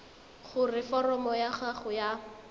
gore foromo ya gago ya